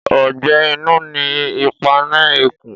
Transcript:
Ọgbẹ inu ni ipà ni ikún